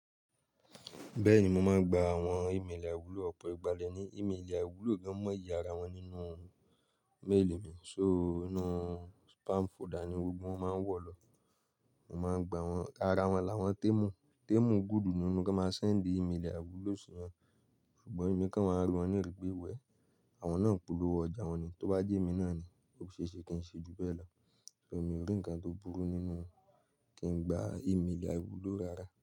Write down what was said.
Bẹ́ẹ̀ni mo máa ń gba àwọn ìméèlì àwúlò ọ̀pọ̀ ìgbà lè ní ìméèlì àwúlò gan mọ́ ìyára wọn nínú méèlì mi. So inú spam folder ni gbogbo wọn máa ń wọ̀ lọ. Mo máa ń gba wọ́n, ara wọn làwọn témù, témù gúdú ni wọ́n tó máa ń sẹ́ǹdì ìméèlì àwúlò sí wọn. Ṣùgbọ́n èmi kan máa ń ri wọ́n ní ìrì pè wẹ́, àwọn náà ń polówó ọjà wọn ni, tó bá jẹ́ èmi náà ni, ó ṣe é ṣe kí n ṣe ju bẹ́ẹ̀ lọ. So èmi ò rí ǹkan tó burú nínú kí n gba ìméèlì àwúlò rárá.